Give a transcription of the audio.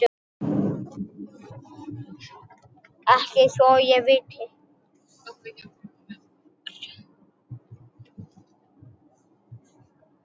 Ekki svo ég viti.